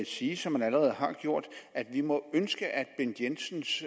sige som han allerede har gjort at vi må ønske at bent jensens